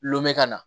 Lome ka na